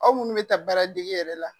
Aw munnu be taa baara dege yɛrɛ la.